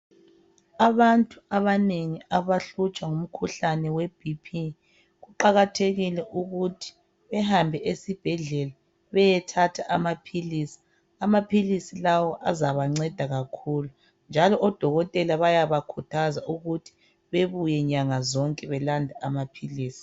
Abantu abanengi abahluthwa ngumkhulane webhiphi, kuqakathekile ukuthi behambe esibhedlela beyethatha amaphilisi. Amaphilisi lawa azabanceda kakhulu njalo odokotela bayabakhuthaza ukuthi bebuye nyanga zonke belanda amaphilisi.